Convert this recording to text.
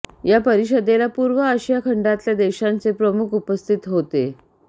या परिषदेला पूर्व आशिया खंडातल्या देशांचे प्रमुख उपस्थित होते